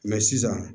Mɛ sisan